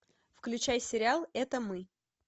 включай сериал это мы